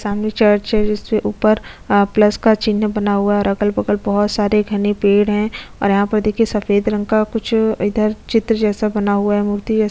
सामने चर्च है जिसमे ऊपरअ प्लस का चिन्ह बना हुआ है और अगल-बगल बहुत सारे घने पेड़ है और यहाँ पर देखिये सफ़ेद रंग का कुछ चित्र जैसा बना हुआ है मूर्ति जैसा --